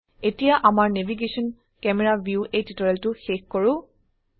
এতিয়া আমাৰ navigation Camera view এই টিউটোৰিয়েলটো শেষ কৰো